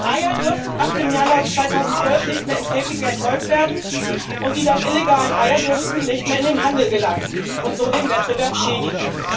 Eier dürfen ab Januar 2012 nicht mehr in Käfigen erzeugt werden, und die dann illegalen Eier dürfen nicht mehr in den Handel gelangen und so den Wettbewerb schädigen.